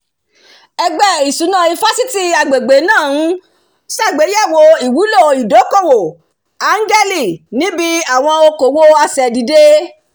ẹgbẹ́ ìṣúná ifásitì agbègbè náà ń ṣàgbéyẹ̀wò ìwúlò ìdókòwò áńgẹ́lì níbi àwọn okòwò asẹ̀dìde